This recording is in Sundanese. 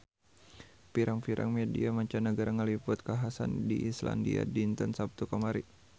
Pirang-pirang media mancanagara ngaliput kakhasan di Islandia dinten Saptu kamari